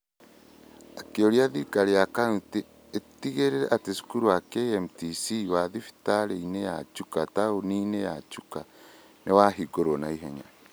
Akĩũria thirikari ya county ĩtigĩrĩre atĩ cukuru wa KMTC wĩ thibitarĩinĩ ya Chuka taũni-inĩ ya Chuka nĩ wahingũrwo na ihenya.